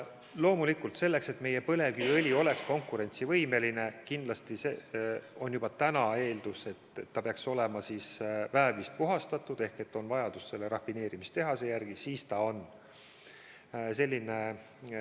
Loomulikult, selleks et meie põlevkiviõli oleks konkurentsivõimeline, eeldatakse juba praegu, et ta peaks olema väävlist puhastatud ehk on vajadus selle rafineerimistehase järele.